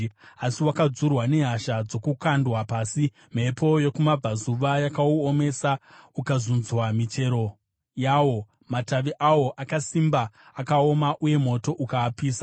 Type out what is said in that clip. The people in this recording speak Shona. Asi wakadzurwa nehasha ndokukandwa pasi. Mhepo yokumabvazuva yakauomesa, ukazunzwa michero yawo; matavi awo akasimba akaoma, uye moto ukaapisa.